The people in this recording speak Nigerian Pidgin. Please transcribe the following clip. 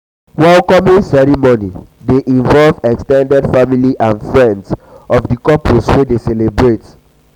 welcoming ceremony de involve ex ten ded family and friends of the couples wey de celebrate